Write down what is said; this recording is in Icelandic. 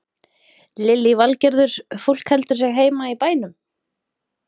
Lillý Valgerður: Fólk heldur sig heima í bænum?